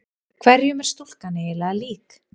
Hverjum er stúlkan eiginlega lík?